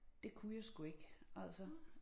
Det kunne jeg sgu ikke altså